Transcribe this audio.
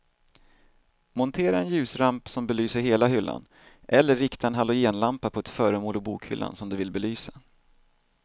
Montera en ljusramp som belyser hela hyllan eller rikta en halogenlampa på ett föremål i bokhyllan som du vill belysa.